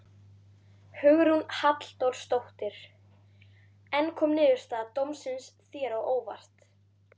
Hugrún Halldórsdóttir: En kom niðurstaða dómsins þér á óvart?